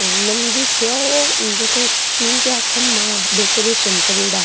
मंदिर सा है और तीन चार खंबा डेकोरेशन करेड़ा --